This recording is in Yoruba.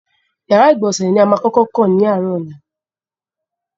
Ìyàrá-ìgbọ̀nsẹ̀ ni a máa kọ́kọ́ kàn ní àárọ̀ ọ̀la.